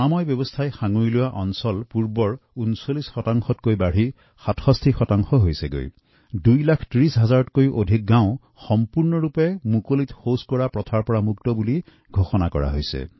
শৌচালয়ৰ সংখ্যা ৩৯শতাংশৰ পৰা বৃদ্ধি পাই ৬৭ শতাংশ হৈছে আৰু ২৩০ লাখৰো অধিক গাওঁ মুকলি স্থানত মলত্যাগ মুক্ত হিচাপে নিজকে ঘোষণা কৰিছে